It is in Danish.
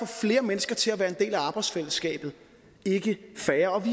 flere mennesker til at være en del af arbejdsfællesskabet ikke færre